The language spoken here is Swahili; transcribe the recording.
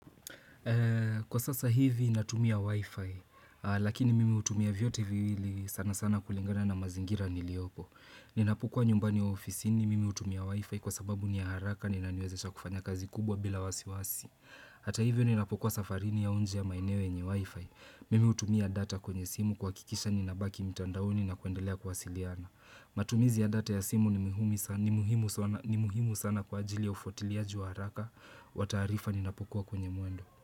Kwa sasa hivi natumia wifi, lakini mimi hutumia vyote viwili sana sana kulingana na mazingira niliopo. Ninapokua nyumbani ya ofisini mimi hutumia wifi kwa sababu ni ya haraka na inaniwezesha kufanya kazi kubwa bila wasiwasi. Hata hivyo ninapokua safarini ya mji wenye maeneo yenye wifi. Mimi hutumia data kwenye simu kuhakikisha ninabaki mtandaoni na kuendelea kuwasiliana. Matumizi ya data ya simu ni muhimu sana kwa ajili ya ufuatiliaji haraka. Wa taarifa ninapikua kwenye mwendo.